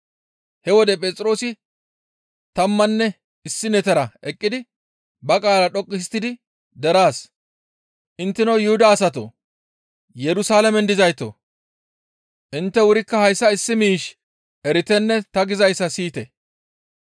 He wode Phexroosi tammanne issinetara eqqidi ba qaala dhoqqu histtidi deraas, «Intteno Yuhuda asatoo! Yerusalaamen dizaytoo! Intte wurikka hayssa issi miish eritenne ta gizayssa siyite.